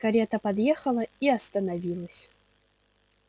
карета подъехала и остановилась